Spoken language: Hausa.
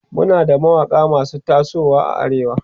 Muna da mawaƙa masu tasowa a arewa